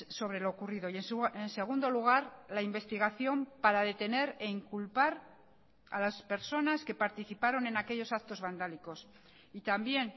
sobre lo ocurrido y en segundo lugar la investigación para detener e inculpar a las personas que participaron en aquellos actos vandálicos y también